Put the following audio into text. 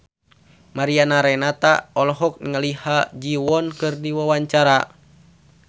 Mariana Renata olohok ningali Ha Ji Won keur diwawancara